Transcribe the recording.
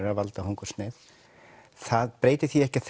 að valda hungursneyð það breytir því ekki að